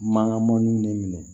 Mankan mɔnniw ne minɛ